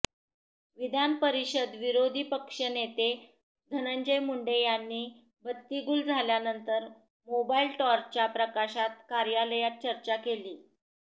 विधानपरिषद विरोधी पक्षनेते धनंजय मुंडे यांनी बत्ती गूल झाल्यानंतर मोबाईल टॉर्चच्या प्रकाशात कार्यालयात चर्चा केली